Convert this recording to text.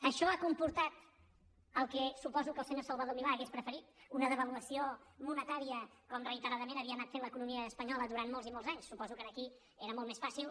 això ha comportat el que suposo que el senyor salvador milà hauria preferit una devaluació monetària com reiteradament havia anat fent l’economia espanyola durant molts i molts anys suposo que aquí era molt més fàcil